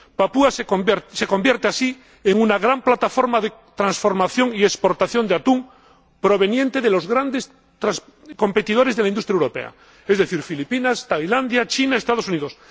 Papúa Nueva Guinea se convierte así en una gran plataforma de transformación y exportación de atún proveniente de los grandes competidores de la industria europea, es decir, Filipinas, Tailandia, China y los Estados Unidos.